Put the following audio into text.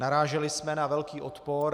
Naráželi jsme na velký odpor.